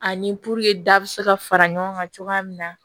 Ani puruke da bi se ka fara ɲɔgɔn kan cogoya min na